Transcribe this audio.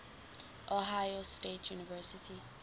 ohio state university